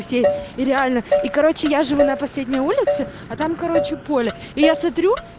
все и реально и короче я живу на последней улице а там короче поле и я смотрю